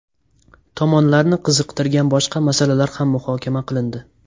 Tomonlarni qiziqtirgan boshqa masalalar ham muhokama qilindi.